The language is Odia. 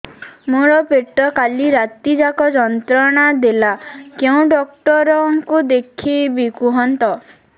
ମୋର ପେଟ କାଲି ରାତି ଯାକ ଯନ୍ତ୍ରଣା ଦେଲା କେଉଁ ଡକ୍ଟର ଙ୍କୁ ଦେଖାଇବି କୁହନ୍ତ